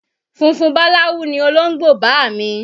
Funfun báláwú ni olóńgbò bàámi